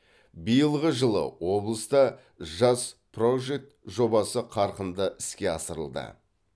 биылғы жылы облыста жас прожект жобасы қарқынды іске асырылды